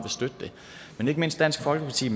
støtte det men ikke mindst dansk folkeparti